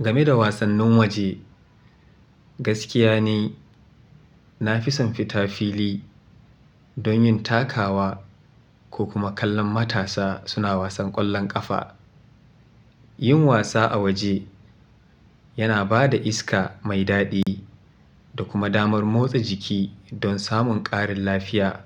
Game da wasannin waje, gaskiya ne na fi son fita fili don yin takawa ko kuma kallon matasa suna wasan ƙwallon ƙafa. Yin wasa a waje yana ba da iska mai daɗi da kuma damar motsa jiki don samun ƙarin lafiya.